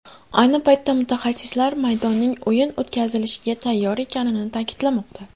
Ayni paytda mutaxassislar maydonning o‘yin o‘tkazilishiga tayyor ekanini ta’kidlamoqda.